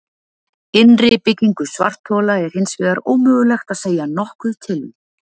Innri byggingu svarthola er hins vegar ómögulegt að segja nokkuð til um.